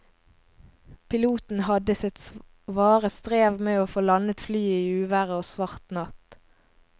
Piloten hadde sitt svare strev med å få landet flyet i uvær og svart natt.